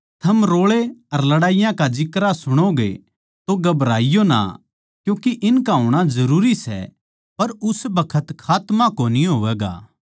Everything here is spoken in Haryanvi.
थम रोळे अर लड़ाईया का जिक्रा सुणोगे तो घबराईयो ना क्यूँके इनका होणा जरूरी सै पर उस बखत खात्मा कोनी होवैगा